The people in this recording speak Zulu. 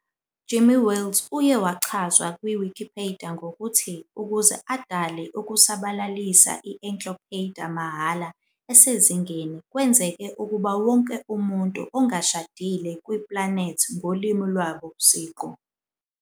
Jimmy Wales uye wachazwa Wikipedia ngokuthi "ukuze adale futhi ukusabalalisa a encyclopedia free of the esezingeni kwenzeke ukuba wonke umuntu ongashadile on planethi ngolimi lwabo siqu".